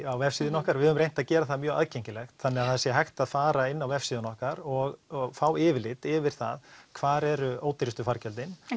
á vefsíðunni okkar við höfum reynt að gera það mjög aðgengilegt þannig að það sé hægt að fara inn á vefsíðuna okkar og fá yfirlit yfir það hvar eru ódýrustu fargjöldin